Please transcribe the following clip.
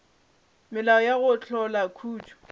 melao ya go hlola khutšo